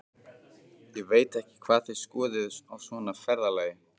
Ég veit ekki hvað þið skoðið á svona ferðalagi.